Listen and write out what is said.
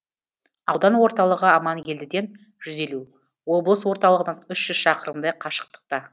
аудан орталығы аманкелдіден жүз елу облыс орталығынан үш жүз шақырымдай қашықта